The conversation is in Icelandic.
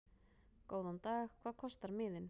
Góðan dag. Hvað kostar miðinn?